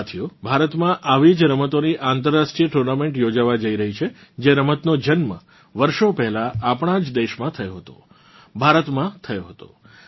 સાથીઓ ભારતમાં આવી જ રમતોની આંતર્રાષ્ટ્રીય ટૂર્નામેન્ટ યોજાવા જઇ રહ્યી છે જે રમતનો જન્મ વર્ષોં પહેલાં આપણાં જ દેશમાં થયો હતો ભારતમાં થયો હતો